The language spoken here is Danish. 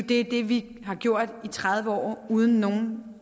det er det vi har gjort i tredive år uden nogen